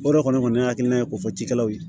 O de kɔni y'a hakilina ye ko fɔ cikɛlaw ye